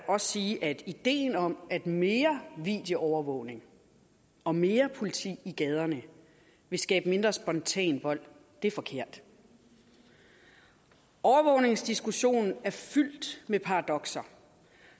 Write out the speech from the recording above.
også sige at ideen om at mere videoovervågning og mere politi i gaderne vil skabe mindre spontan vold er forkert overvågningsdiskussionen er fyldt med paradokser